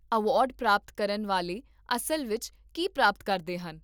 Award ਪ੍ਰਾਪਤ ਕਰਨ ਵਾਲੇ ਅਸਲ ਵਿੱਚ ਕੀ ਪ੍ਰਾਪਤ ਕਰਦੇ ਹਨ?